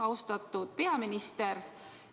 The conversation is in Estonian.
Austatud peaminister!